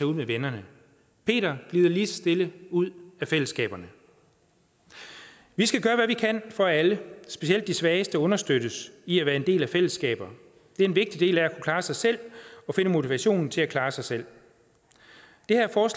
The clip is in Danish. ud med vennerne peter glider lige så stille ud af fællesskaberne vi skal gøre hvad vi kan for at alle specielt de svageste understøttes i at være en del af nogle fællesskaber det er en vigtig del af at kunne klare sig selv og finde motivationen til at klare sig selv